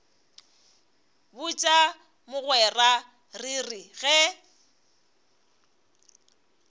botša mogwera re re ge